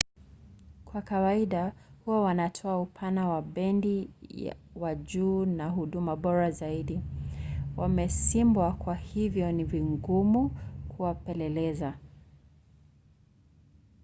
kwa kawaida huwa wanatoa upana wa bendi wa juu na huduma bora zaidi. wamesimbwa kwa hivyo ni vigumu kuwapeleleza